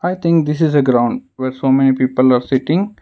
i think this is a ground where so many people are sitting.